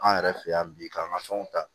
An yɛrɛ fɛ yan bi k'an ka fɛnw ta